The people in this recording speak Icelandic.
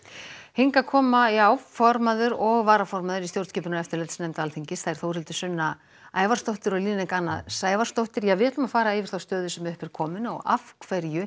hingað koma formaður og fyrsti varaformaður stjórnskipunar og eftirlitsnefndar Alþingis þær Þórhildur Sunna Ævarsdóttir og Líneik Anna Sævarsdóttir og fara yfir þá stöðu sem upp er komin af hverju